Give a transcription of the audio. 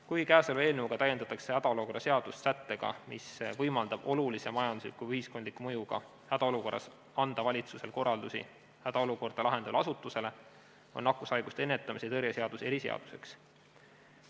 Kui käesoleva eelnõuga täiendatakse hädaolukorra seadust sättega, mis võimaldab olulise majandusliku või ühiskondliku mõjuga hädaolukorras anda valitsusel korraldusi hädaolukorda lahendavale asutusele, siis on nakkushaiguste ennetamise ja tõrje seadus eriseaduseks.